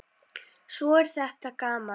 Svo er þetta gaman.